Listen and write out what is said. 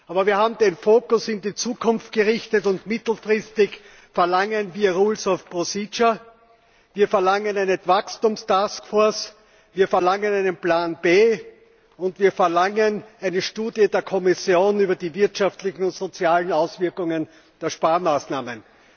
Aber wir haben den Fokus auf die Zukunft gerichtet und mittelfristig verlangen wir rules of procedure, wir verlangen eine Wachstums Taskforce, wir verlangen einen Plan B und wir verlangen eine Studie der Kommission über die wirtschaftlichen und sozialen Auswirkungen der Sparmaßnahmen.